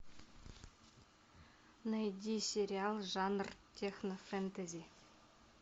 найди сериал жанр технофэтези